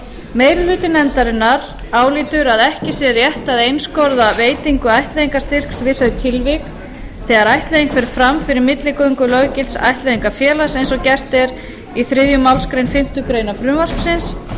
meiri hluti nefndarinnar álítur að ekki sé rétt að einskorða veitingu ættleiðingarstyrks við þau tilvik þegar ættleiðing fer fram fyrir milligöngu löggilts ættleiðingarfélags eins og gert er í þriðju málsgrein fimmtu grein frumvarpsins og er